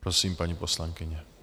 Prosím, paní poslankyně.